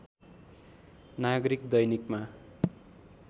नागरिक दैनिकमा